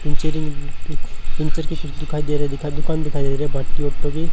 पिनचरिंग puncture की कुछ दुखाई दे रहे है दुकान दिखाई दे रही है भट्टी ओंठो की--